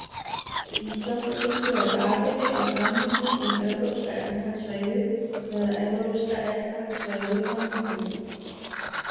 Ísland er hins vegar aðili að samningnum um Evrópska efnahagssvæðið, eða Evrópska efnahagssvæðið-samningnum.